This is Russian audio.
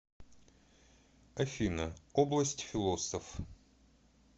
афина область философ